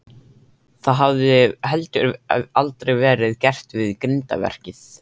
Það hafði heldur aldrei verið gert við grindverkið.